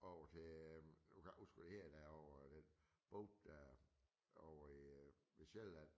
Over til nu kan jeg ikke huske hvad de hedder derovre den by der og øh ved Sjælland